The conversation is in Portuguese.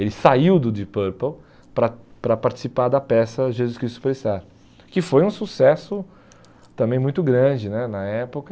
Ele saiu do Deep Purple para para participar da peça Jesus Cristo Superstar, que foi um sucesso também muito grande né na época.